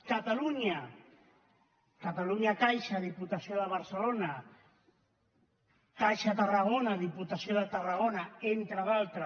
catalunya catalunya caixa diputació de barcelona caixa tarragona diputació de tarragona entre d’altres